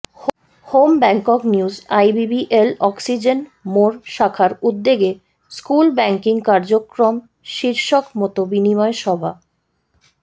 home bank news IBBL oxygen মোড় শাখার উদ্যোগে স্কুল ব্যাংকিং কার্যক্রম শীর্ষক মত বিনিময় সভা